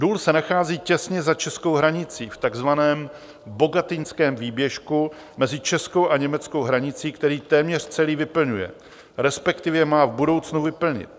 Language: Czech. Důl se nachází těsně za českou hranicí v takzvaném Bogatyňském výběžku mezi českou a německou hranicí, který téměř celý vyplňuje, respektive má v budoucnu vyplnit.